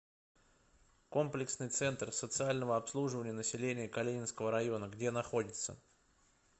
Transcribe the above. комплексный центр социального обслуживания населения калининского района где находится